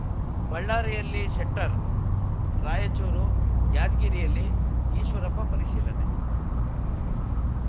ಬಳ್ಳಾರಿಯಲ್ಲಿ ಶೆಟ್ಟರ್‌ ರಾಯಚೂರು ಯಾದಗಿರಿಯಲ್ಲಿ ಈಶ್ವರಪ್ಪ ಪರಿಶೀಲನೆ